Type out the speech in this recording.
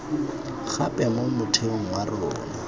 gape mo motheong wa rona